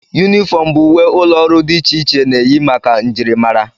Yunifọm bụ uwe ụlọọrụ dị iche iche na-eyi maka njirimara